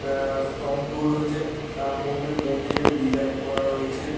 আ স্তম্ব রয়েছে তার মধ্যে মন্দিরের ডিসাইন করা রয়েছে।